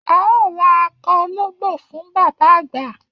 A óò ra akọ ológbò fún bàbá àgbà